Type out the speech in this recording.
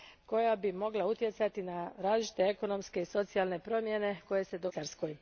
koja bi mogla utjecati na različite ekonomske i socijalne promjene koje se događaju u Švicarskoj.